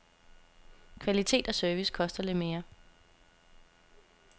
Kvalitet og service koster lidt mere.